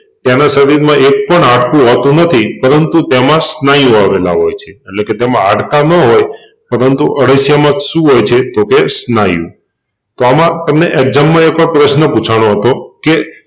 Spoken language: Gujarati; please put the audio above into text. તેના શરીર માં એકપણ હાડકું હોતું નથી પરંતુ તેમાં સ્નાયુ આવેલા હોય છે એટલેકે તેમ હાડકાં ન હોય પરંતુ અળસિયા માં શું હોય છે તોકે સ્નાયુ તો આમાં એક્જામ માં તમને એકવાર પ્રશ્ન પુછાણો હતો કે